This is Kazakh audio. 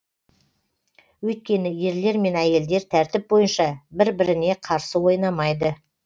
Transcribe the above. өйткені ерлер мен әйелдер тәртіп бойынша бір біріне қарсы ойнамайды